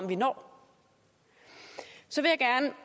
vi når så lagde